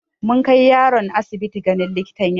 Mun kai yaron asibiti ganin likitan yara.